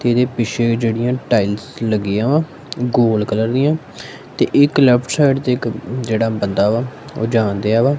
ਕਿਉਂਕਿ ਪਿੱਛੇ ਵੀ ਜਿਹੜੀਆਂ ਟਾਈਲਸ ਲੱਗੀਆਂ ਵਾ ਗੋਲ ਕਲਰ ਦੀਆਂ ਤੇ ਇਕ ਲੈਫਟ ਸਾਈਡ ਤੇ ਇੱਕ ਜਿਹੜਾ ਬੰਦਾ ਵਾ ਉਹ ਜਾਣ ਡਿਆ ਵਾ।